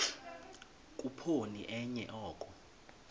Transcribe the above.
khuphoni enye oko